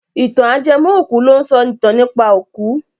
Ìtàn ajẹmọ́-òkú ló ń sọ ìtàn nípa òkú.